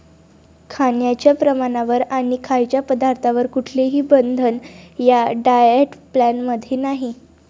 खाण्याच्या प्रमाणावर आणि खायच्या पदार्थांवर कुठलेही बंधन या डाएट प्लॅन मध्ये नाही.